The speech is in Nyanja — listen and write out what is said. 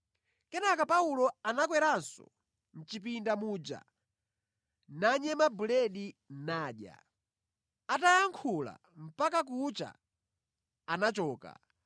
Kenaka Paulo anakweranso, mʼchipinda muja nanyema buledi nadya. Atayankhula mpaka kucha, anachoka.